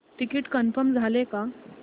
ticket confirm झाले का